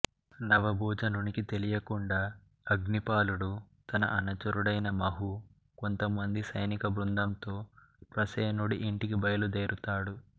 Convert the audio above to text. నవభోజునికి తెలియకుండా అగ్నిపాలుడు తన అనుచరుడైన మాహూ కొంతమంది సైనిక బృందంతో ప్రసేనుడి ఇంటికి బయల్దేరుతాడు